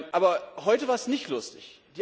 Aber heute war es nicht lustig.